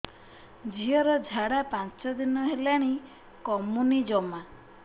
ଝିଅର ଝାଡା ପାଞ୍ଚ ଦିନ ହେଲାଣି କମୁନି ଜମା